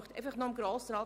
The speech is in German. Noch etwas zu Grossrat